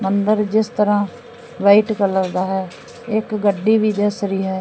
ਮੰਦਰ ਜਿਸ ਤਰਾਂ ਵਾਈਟ ਕਲਰ ਦਾ ਹੈ ਇਕ ਗੱਡੀ ਵੀ ਦਿਸ ਰਹੀ ਹੈ।